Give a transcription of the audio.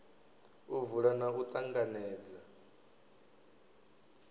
u vula na u ṱanganedza